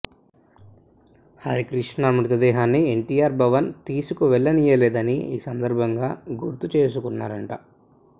హరికృష్ణ మృతదేహాన్ని ఎన్టీఆర్ భవన్ తీసుకు వెళ్లనీయలేదని ఈ సందర్భంగా గుర్తు చేసుకుంటున్నారట